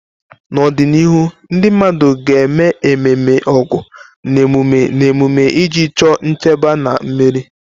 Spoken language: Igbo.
N'ọdịnihu, ndị mmadụ ga-eme ememe Ọgu na emume na emume iji chọọ nchebe na mmeri.